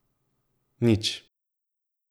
Nič.